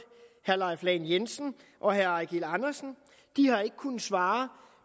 herre leif lahn jensen og herre eigil andersen de har ikke kunnet svare